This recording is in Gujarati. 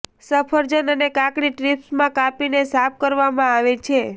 સફરજન અને કાકડી સ્ટ્રીપ્સમાં કાપીને સાફ કરવામાં આવે છે